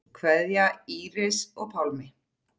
Kveðja, Íris og Pálmi.